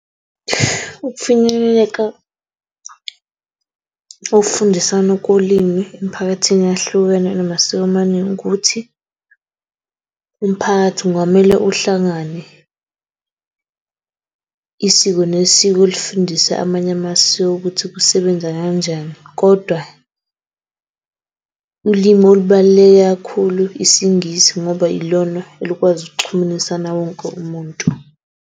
Ukufinyeleleka kokufundisana kolimi emphakathini eyahlukene enamasiko amaningi ukuthi umphakathi ngamele uhlangane. Isiko nesiko, lifundise amanye amasiko ukuthi kusebenza kanjani, kodwa ulimi olubaluleke kakhulu isiNgisi ngoba ilona elikwazi ukuxhumanisana wonke umuntu.